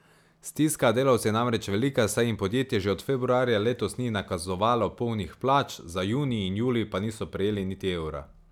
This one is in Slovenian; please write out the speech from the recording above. Stiska delavcev je namreč velika, saj jim podjetje že od februarja letos ni nakazovalo polnih plač, za junij in julij pa niso prejeli niti evra.